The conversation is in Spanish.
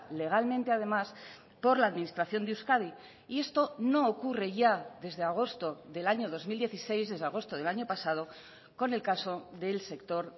legalmente además por la administración de euskadi y esto no ocurre ya desde agosto del año dos mil dieciséis desde agosto del año pasado con el caso del sector